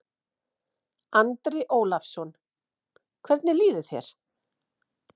Andri Ólafsson: Hvernig líður þér?